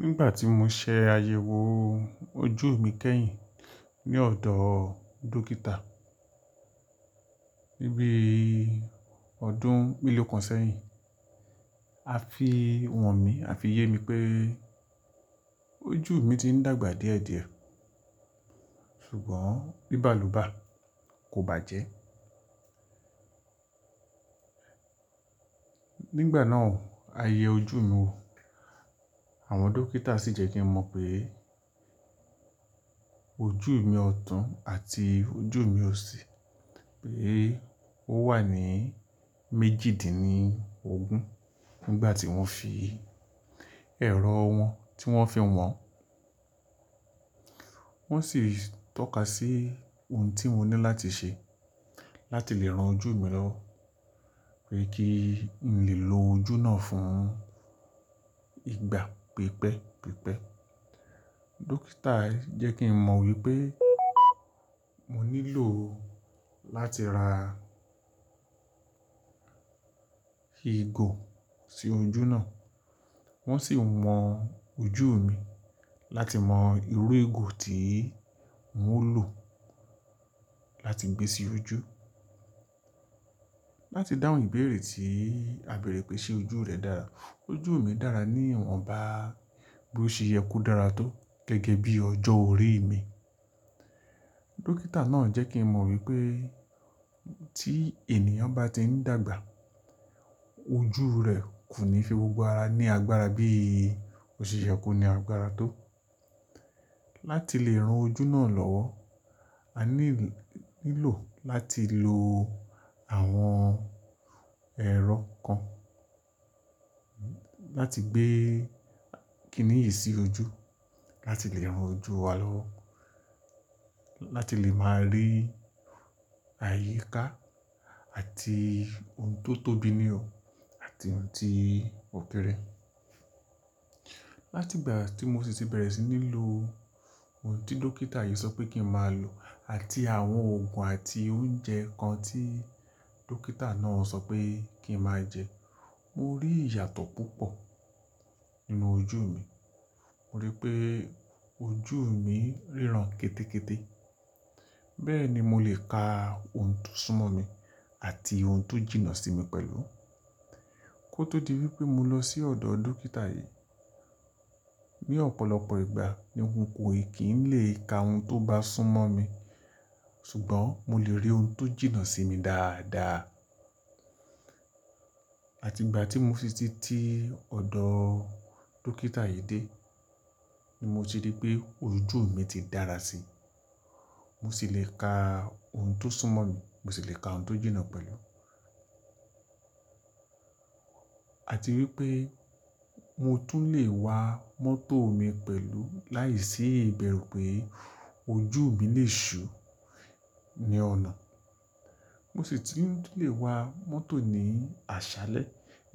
Nígbà tí mo ṣe àyẹ̀wò ojú mi kẹ́yìn ní ọ̀dọ̀ dókítà níbí ọdún mélòó kan sẹ́yìn, a fi han mí, a fi yé mi pé ojú mi ti ń dàgbà díẹ̀díẹ̀, ṣùgbọ́n bibalobà kò bàjẹ́. Nígbà náà, à yẹ ojú mi wò, àwọn dókítà sì jẹ́ kí n mọ̀ pé ojú mi ọ̀tún àti ojú mi òsì pé ó wà ní méjìdínní ogún nígbà tí wọ́n fi ẹ̀rọ wọn tí wọ́n fi ń wọ̀n. Wọ́n sì tọ́ka sí ohun tí mo ní láti ṣe láti lè ran ojú mi lọ́wọ́, pé kí n lè lo ojú náà fún ìgbà pípẹ́ pípẹ́. Dókítà jẹ́ kí n mọ̀ wípé mo nílò láti ra igò sí ojú náà. Wọn sì wọn ojú mi láti mọ irú igò tí n ò lò láti gbé sí ojú. Láti dáhùn ìbéèrè tí a bèèrè pé ṣe ojú rẹ dára. Ojú mi dára ní ìwọ̀n bá bó ṣe yẹ kó dára tó gẹ́gẹ́ bí ọjọ́ orí mi. Dókítà náà jẹ́ kí n mọ̀ wípé tí ènìyàn bá ti ń dàgbà ojú rẹ̀ kò ní fi gbogbo ara ní agbára bí ó ṣe yẹ kó ní agbára tó. Láti lè ran ojú náà lọ́wọ́, a nílò láti lo àwọn ẹ̀rọ kan láti gbé kìnì yìí sí ojú láti lè ran ojú wa lọ́wọ́, láti lè máa rí àyíká àti ohun tó tóbi ní o àti ohun tí ó kéré. Látìgbà tí mo sì ti bẹ̀rẹ̀ sí ní lo ohun tí dókítà yìí sọ pé kí n máa lò àti àwọn òògùn àti oúnjẹ kan tí dókítà náà sọ pé kí n máa jẹ, mo rí ìyàtọ̀ púpọ̀ nínú ojú mi. Mo rí pé ojú mi ríran kété kété. Bẹ́ẹ̀ ni mo lè ka ohun tó súnmọ́ mi àti ohun tó jìnnà sí mi pẹ̀lú. Kótó di wípé mo lọ sí ọ̀dọ̀ dókítà yìí, ní ọ̀pọ̀lọpọ̀ ìgbà ní nǹkan kò ì kí ń lè ka ohun tó bá sún mọ́ mi, ṣùgbọ́n mo lè rí ohun tó jìnnà sí mi dáadáa. Àti ìgbà tí mo sì ti ti ọ̀dọ̀ dókítà yìí dé ni mo ti rí pé ojú mi ti dára sí i. Mo sì lè ka ohun tó sún mọ́ mi, mo sì lè ka ohun tó jìnnà pẹ̀lú. Àti wípé mo tún lè wa mọ́tò mi pẹ̀lú láìsí ìbẹ̀rù pé ojú mi lè ṣú ní ọ̀nà. Mo sì ti ń tunlè wa mọ́tò ní àṣálẹ́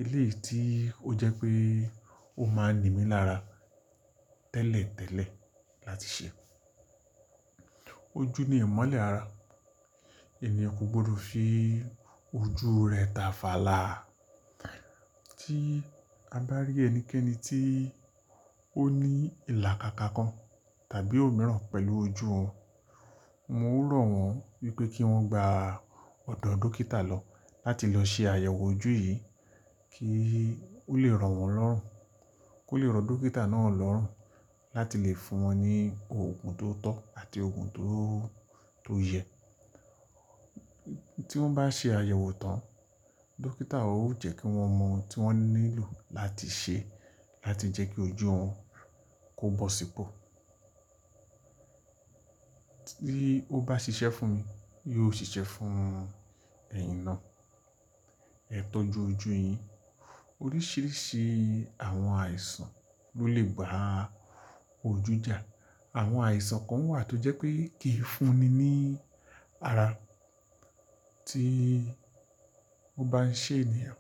eléyìí tí ó jẹ́ pé ó máa ń nimí lára tẹ́lẹ̀ tẹ́lẹ̀ láti ṣe. Ojú ni ìmọ́lẹ̀ ara. Ẹeyan kò gbọdọ̀ fi ojú rẹ̀ ta fàlà. Tí a bá rí ẹnikẹ́ni tí ó ní ìlàkaká kan tàbí òmíràn pẹ̀lú ojú wòn, mo ń rọ̀ wọ́n wípé kí wọ́n gbà ọ̀dọ̀ dókítà lọ láti lọ ṣe àyẹ̀wò ojú yìí kí ó lè ro wọ́n lọ́rùn, kó lè rọ dókítà náà lọ́rùn láti lè fún wọn ní òògùn tó tọ́ àti òògùn tó yẹ. Tí wọ́n bá ṣe àyẹ̀wò tán, dókítà ó jẹ́ kí wọ́n mọ ohun tí wọ́n nílò láti ṣe láti jẹ́ kí ojú òun kó bọ̀ sípò. Bí ó bá ṣiṣẹ́ fún mi, yóò sì ṣiṣẹ́ fún ẹ̀yin náà. Ẹ tọ́jú ojú yín. Oríṣìíríṣìí àwọn àìsàn ló lè ba ojú jà. Àwọn àìsàn kan wà tó jẹ́ pé kìí fúnni ní ara tí ó bá ń ṣe ènìyàn.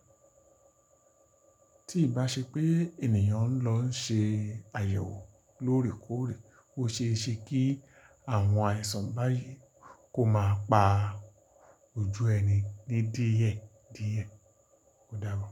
Tí ì bá ṣe pé ènìyàn ń lọ ń ṣe àyẹ̀wò lóòrèkóòrè, ó ṣe é ṣe kí àwọn àìsàn báyìí kó máa pa ojú ẹni de díẹ̀díẹ̀. Ó dábo.